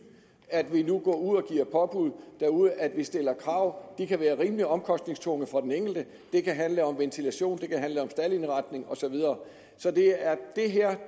at vi nu går ud og giver påbud derude at vi stiller krav og de kan være rimelig omkostningstunge for den enkelte det kan handle om ventilation det kan handle om staldindretning og så videre så det her er